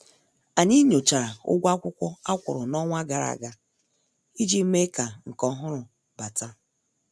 Anyị nyochara ụgwọ akwụkwọ akwuru n' ọnwa gara aga iji mee ka nke ọhụrụ bata.